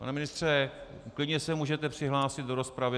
Pane ministře, klidně se můžete přihlásit do rozpravy.